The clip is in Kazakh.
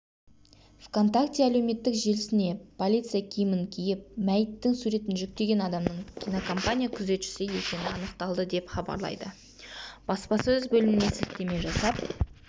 вконтакте әлеуметтік желісіне полиция киімін киіп мәйіттің суретін жүктеген адамның кинокомпания күзетшісі екені анықталды деп хабарлайды баспасөз бөліміне сілтеме жасап